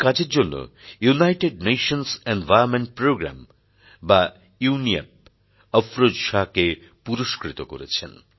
এই কাজের জন্য ইউনাইটেড নেশনস এনভাইরনমেন্টপ্রোগ্রামে ইউএনইপি অফরোজ শাহকে পুরস্কৃত করেছে